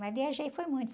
Mas viajei foi muito.